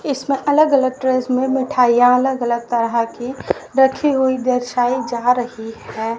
इसमें अलग अलग ट्रेस में मिठाइयां अलग अलग तरह की रखी हुई दर्शाई जा रही है।